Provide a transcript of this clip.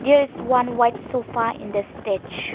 there is one white sofa in the stage.